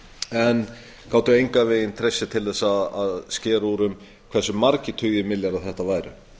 en gátu engan veginn treyst sér til að skera úr um hversu margir tugir milljarða þetta væru